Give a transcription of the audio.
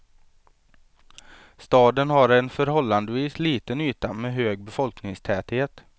Staden har en förhållandevis liten yta med hög befolkningstäthet.